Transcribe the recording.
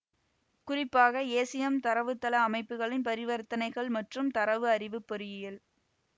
குறிப்பாக ஏசியெம் தரவுத்தள அமைப்புகளின் பரிவர்த்தனைகள் மற்றும் தரவு அறிவுப் பொறியியல்